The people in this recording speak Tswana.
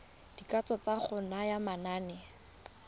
dikatso tsa go naya manane